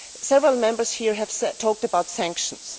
Several Members here have talked about sanctions.